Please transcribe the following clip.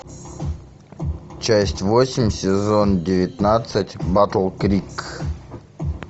часть восемь сезон девятнадцать батл крик